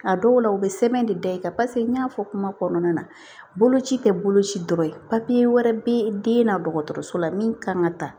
A dɔw la u bɛ sɛbɛn de da i kan paseke n y'a fɔ kuma kɔnɔna na boloci tɛ boloci dɔrɔn ye wɛrɛ bɛ den na dɔgɔtɔrɔso la min kan ka ta